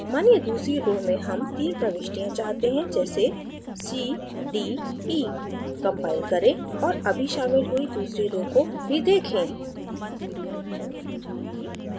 मानिए दूसरी row में हम तीन प्रविष्टियाँ चाहते हैं जैसे c d e compile करें और अभी शामिल हुई दूसरी row को भी देखें